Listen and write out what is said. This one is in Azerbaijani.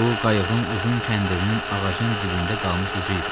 Bu qayıqın uzun kəndirinin ağacın dibində qalmış ucu idi.